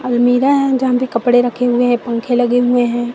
अलमीरा है जहां पे कपड़े रखे हुए हैं पंख लगे हुए हैं।